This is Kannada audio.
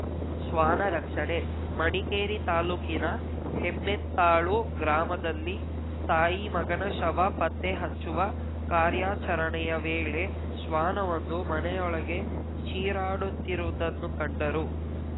ಶ್ವಾನ ರಕ್ಷಣೆ ಮಡಿಕೇರಿ ತಾಲೂಕಿನ ಹೆಮ್ಮೆತ್ತಾಳು ಗ್ರಾಮದಲ್ಲಿ ತಾಯಿ ಮಗನ ಶವ ಪತ್ತೆಹಚ್ಚುವ ಕಾರ್ಯಾಚರಣೆಯ ವೇಳೆ ಶ್ವಾನವೊಂದು ಮನೆಯೊಳಗೆ ಚೀರಾಡುತ್ತಿರುವದನ್ನು ಕಂಡರು